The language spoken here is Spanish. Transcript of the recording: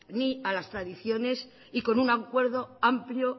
ni a las tradiciones y con un acuerdo amplio